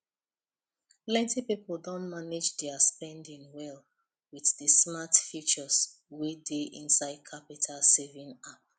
plenty people don manage their spending well with the smart features wey dey inside qapital savings app